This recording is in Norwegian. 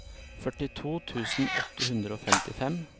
førtito tusen åtte hundre og femtifem